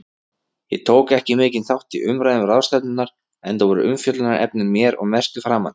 Ég tók ekki mikinn þátt í umræðum ráðstefnunnar, enda voru umfjöllunarefnin mér að mestu framandi.